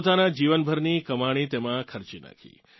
પોતાનાં જીવનભરની કમાણી તેમાં ખર્ચી નાખી